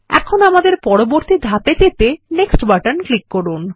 এখন আমাদের পরবর্তী ধাপে যেতে নেক্সট বাটন ক্লিক করুন